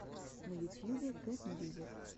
на ютьюбе кэт мьюзик